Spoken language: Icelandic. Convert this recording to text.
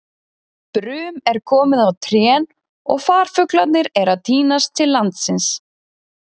Brum er komið á trén og farfuglarnir eru að tínast til landsins.